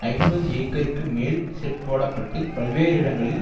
ஐம்பது ஏக்கருக்கு மேல் செட் போட பட்டு பல்வேறு இடங்களில்